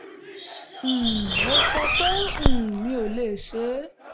um mo sọ pé um mi ò lè ṣe é